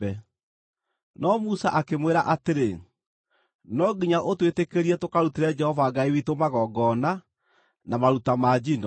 No Musa akĩmwĩra atĩrĩ, “No nginya ũtwĩtĩkĩrie tũkarutĩre Jehova Ngai witũ magongona na maruta ma njino.